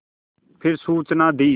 फिर सूचना दी